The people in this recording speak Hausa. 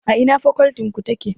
A ina fakoltin ku take?